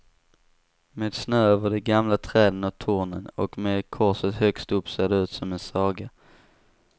Med snö över de gamla träden och tornen och med korset högst upp ser det ut som en saga.